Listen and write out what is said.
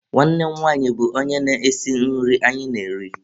Nwanne m nwanyị bụ onye na-esi nri anyị na-eri.